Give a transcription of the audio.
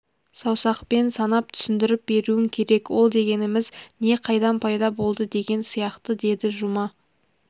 саусақпан санап түсіндіріп беруің керек ол дегеніміз не қайдан пайда болды деген сияқты деді жұма